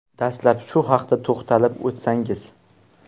Dastlab shu haqda to‘xtalib o‘tsangiz.